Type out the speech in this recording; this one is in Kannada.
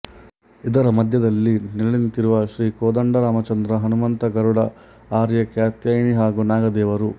ಇದರ ಮಧ್ಯದಲ್ಲಿ ನೆಲೆ ನಿಂತಿರುವ ಶ್ರೀಕೋದಂಡರಾಮಚಂದ್ರ ಹನುಮಂತ ಗರುಡ ಆರ್ಯ ಕಾತ್ಯಾಯಿನಿ ಹಾಗೂ ನಾಗದೇವರು